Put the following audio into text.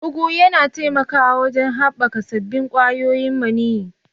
Ugu yana taimakawa wajen haɓaka sabbin ƙwayoyin maniyyi.